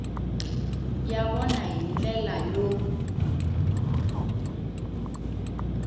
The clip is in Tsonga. ya vona hi ndlela yo